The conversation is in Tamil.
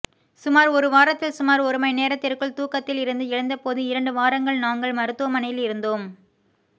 சுமார் ஒரு வாரத்தில் சுமார் ஒரு மணி நேரத்திற்குள் தூக்கத்தில் இருந்து எழுந்தபோது இரண்டு வாரங்கள் நாங்கள் மருத்துவமனையில் இருந்தோம்